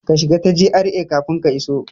Ka shiga ta GRA kafin ka iso!